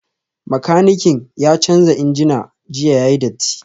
Makanikin ya canza injina jiya yayi datti